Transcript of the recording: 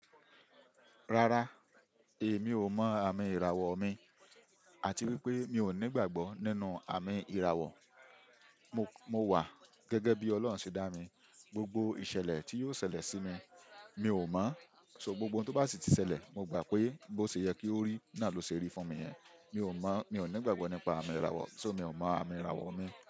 Rárá, èmi ò mọ àmì ìràwọ̀ mi àti wípé mi ò ní ìgbàgbọ́ nínú àmì ìràwọ̀. Mo wà gẹ́gẹ́ bí Ọlọ́run ṣe dá mi. Gbogbo ìṣẹ̀lẹ̀ tí yóò ṣẹlẹ̀ sí mi, mi ò mọ̀, ṣọ gbogbo ohun tó bá sì ti ṣẹlẹ̀, mo gbà pé bó ṣe yẹ kí ó rí, náà ló ṣe rí fún mi yẹn. Mi ò mọ̀, mi ò ní ìgbàgbọ́ nípa àmì ìràwọ̀, ṣọ mi ò mọ àmì ìràwọ̀ mi.